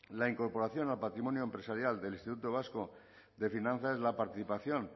la incorporación a patrimonio empresarial del instituto vasco de finanzas la participación